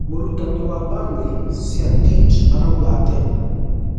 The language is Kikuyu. Mũrutani wa Burnley Sean Dyche arauga atĩa?